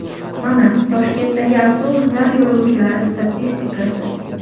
Mana Toshkentdagi avtobuslar yo‘lovchilari statistikasi.